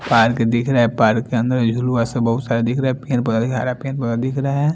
Park दिखरा है park के अन्दर बहुत सारा दुखरा है दिख रहे है।